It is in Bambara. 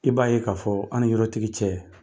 I b'a ye k'a fɔ an ni yɔrɔtigi cɛ